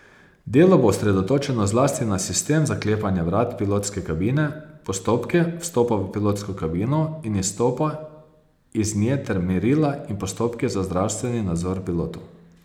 Delo bo osredotočeno zlasti na sistem zaklepanja vrat pilotske kabine, postopke vstopa v pilotsko kabino in izstopa iz nje ter merila in postopke za zdravstveni nadzor pilotov.